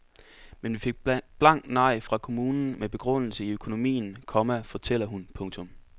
Men vi fik blankt nej fra kommunen med begrundelse i økonomien, komma fortæller hun. punktum